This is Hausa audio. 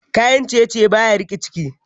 Kayan ciye-ciye baya rike ciki.